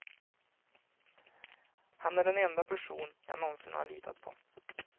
Han är den enda person jag någonsin har litat på.